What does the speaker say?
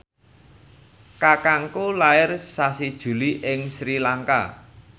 kakangku lair sasi Juli ing Sri Lanka